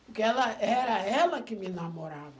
Porque ela era ela que me namorava.